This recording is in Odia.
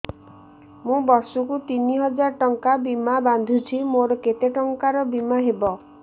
ମୁ ବର୍ଷ କୁ ତିନି ହଜାର ଟଙ୍କା ବୀମା ବାନ୍ଧୁଛି ମୋର କେତେ ଟଙ୍କାର ବୀମା ହବ